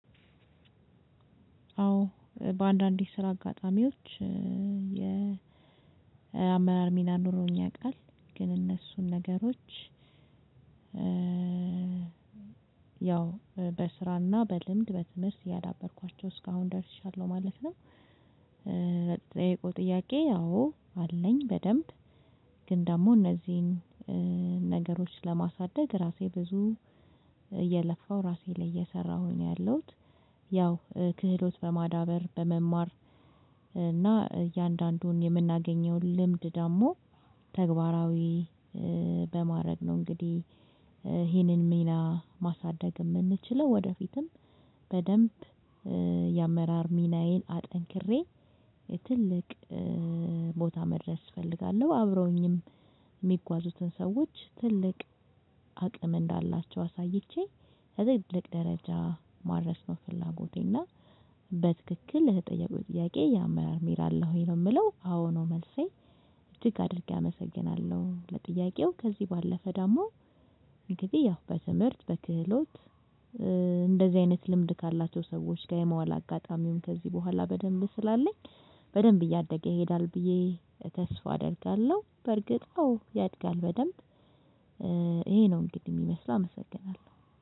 አዎ በአንዳንድ የስራ አጋጣሚዎች የአመራር ሚና ኖሮኝ ያውቃል ግን እነሱን ነገሮች ያው በስራና በልምድ በትምህርት እያዳበርኳቸው እስካሁን ደርሻለሁ ማለት ነው። ለተጠየቀው ጥያቄ አዎ አለኝ በደንብ። ግን ደግሞ እነዚህን ነገሮች ለማሳደግ ራሴ ብዙ እየለፋው እራሴ ላይ እየሰራው ነው ያለውት። ያው ክህሎት በማዳበር በመማር እና እያንዳንዱን የምናገኘው ልምድ ደግሞ ተግባራዊ በማድረግ ነው እንግዲህ። ይሄንን ሚና ማሳደግ የምንችለው ወደፊትም በደንብ የአመራር ሚናዬን አጠንክሬ ትልቅ ቦታ መድረስ እፈልጋለሁ አብረውኝም የሚጓዙትን ሰዎች ትልቅ አቅም እንዳላቸው አሳይቼ ለትልቅ ደረጃ ማድረስ ነው ፍላጎቴና። በትክክል ለተጠየቀው ጥያቄ የአመራር ሚና አለህ ወይ ነው የምለው? አዎ ነው መልሴ እጅግ አድርጌ አመሰግናለሁ። ለጥያቄው ከዚህ ባለፈ ደግሞ እንግዲህ ያው በትምህርት በክህሎት እንደዚህ አይነት ልምድ ካላቸው ሰዎች ጋር የመዋል አጋጣሚውን ከዚህ በኋላ በደንብ ስላለኝ በደንብ እያደገ ይሄዳል ብዬ ተስፋ አደርጋለሁ። በርግጥ አዎ ያድጋል በደንብ። ይሄ ነው እንግዲህ የሚመስለው አመሰግናለሁ